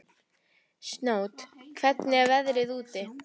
Snót, hvernig er veðrið úti?